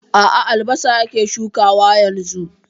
A a, albasa yake shukawa yanzu.